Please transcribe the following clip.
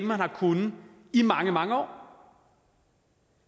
har kunnet i mange mange år